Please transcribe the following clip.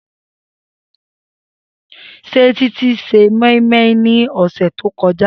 Se Titi se moi -moi ni ose to koja?